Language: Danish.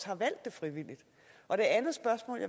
har valgt det frivilligt og